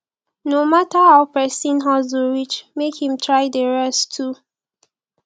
no mata ow pesin hustle reach mek him try dey rest too